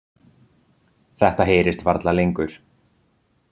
Þetta heyrist varla lengur.